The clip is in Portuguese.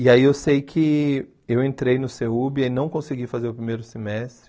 E aí eu sei que eu entrei no CEUB e não consegui fazer o primeiro semestre.